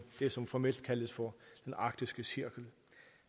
det som formelt kaldes for den arktiske cirkel